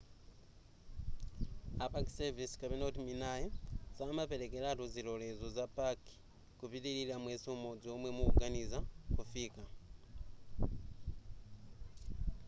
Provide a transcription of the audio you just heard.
a park service minae samaperekeratu zilolezo za paki kupitilira mwezi umodzi omwe mukuganiza kufika